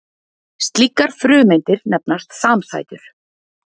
slíkar frumeindir nefnast samsætur